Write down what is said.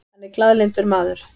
Hann er glaðlyndur maður.